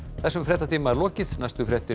þessum fréttatíma er lokið næstu fréttir